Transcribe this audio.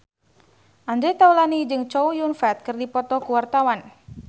Andre Taulany jeung Chow Yun Fat keur dipoto ku wartawan